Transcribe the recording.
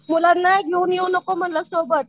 मुलांना घेऊन येऊ नको म्हणलं सोबत.